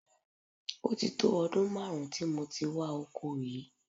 Ó ti tó ọdún máàrún tí mo ti wà oko yìí